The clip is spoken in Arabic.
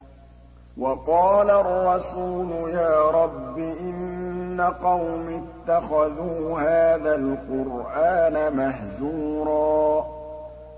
وَقَالَ الرَّسُولُ يَا رَبِّ إِنَّ قَوْمِي اتَّخَذُوا هَٰذَا الْقُرْآنَ مَهْجُورًا